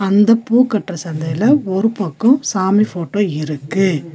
அந்த பூ கட்ற சந்தையில ஒரு பக்கோ சாமி ஃபோட்டோ இருக்கு.